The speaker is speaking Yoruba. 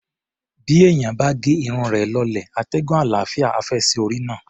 Bí èèyàn bá ge irun rẹ̀ lọlẹ̀, atẹ́gùn àlàáfíà á fẹ́ sí orí náà.